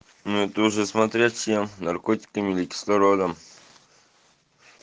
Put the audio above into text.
ну ты уже смотря чем наркотиками или кислородом